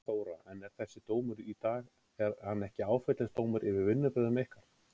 Þóra: En er þessi dómur í dag, er hann ekki áfellisdómur yfir vinnubrögðum ykkar?